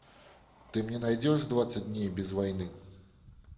ты мне найдешь двадцать дней без войны